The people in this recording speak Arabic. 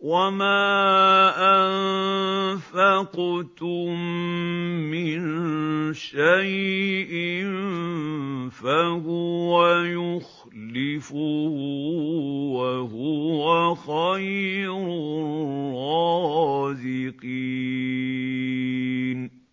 وَمَا أَنفَقْتُم مِّن شَيْءٍ فَهُوَ يُخْلِفُهُ ۖ وَهُوَ خَيْرُ الرَّازِقِينَ